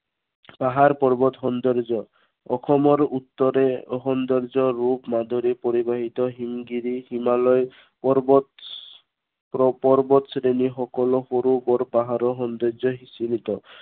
পাহাৰ পৰ্বত সৌন্দৰ্য। অসমৰ উত্তৰে সৌন্দৰ্য ৰূপ মাধুৰি পৰিবাহিত হিমগিৰি, হিমালয় পৰ্বত প্ৰ~পৰ্বত শ্ৰেণী সকলো সৰু বৰ পাহাৰৰ সৌন্দৰ্যই সিচৰিত।